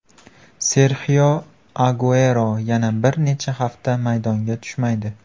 Serxio Aguero yana bir necha hafta maydonga tushmaydi.